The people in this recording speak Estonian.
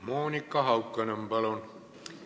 Monika Haukanõmm, palun!